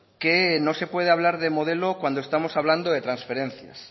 que no se puede hablar de modelo cuando estamos hablando de transferencias